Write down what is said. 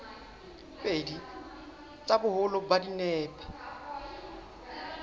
pedi tsa boholo ba dinepe